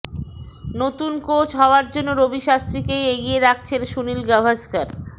নতুন কোচ হওয়ার জন্য রবি শাস্ত্রীকেই এগিয়ে রাখছেন সুনীল গাভাসকর